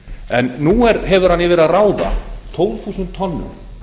en nú hefur hann yfir að ráða tólf þúsund tonnum